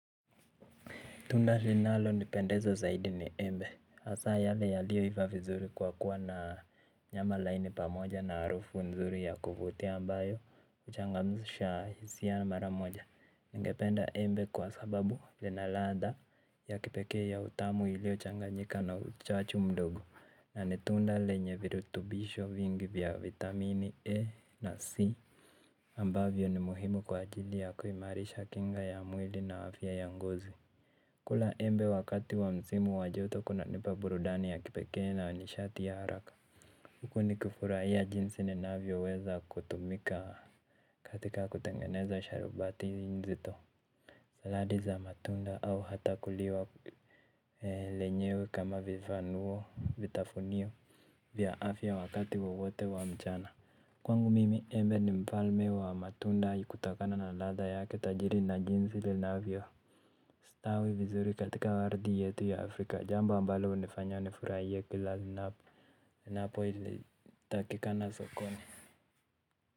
Tunda linalo nipendeza zaidi ni embe hAsa yale yaliyo iva vizuri kwa kuwa na nyama laini pamoja na harufu nzuri ya kuvutia ambayo huchangamsha hisia mara moja. Ningependa embe kwa sababu lina ladha ya kipeke ya utamu ilio changanjika na uchachu mdogo na ni tunda lenye virutubisho vingi vya vitamini E na C. Ambavyo ni muhimu kwa ajili ya kuimarisha kinga ya mwili na afya ya ngozi. Kula embe wakati wa msimu wa joto kuna nipa burudani ya kipekee na wa nishati ya haraka huku nikifurahia jinsi ni navyo weza kutumika katika kutengeneza sharubati njito. Saladi za matunda au hata kuliwa lenyewe kama vifanuo vitafunio vya afya wakati wowote wa mchana. Kwangu mimi embe ni mfalme wa matunda kutokana na ladha yake tajiri na jinsi linavyo stawi vizuri katika waridi ya tu ya Afrika. Jambo ambalo hunifanya nifurahie kila ninap napo ili takikana sokoni.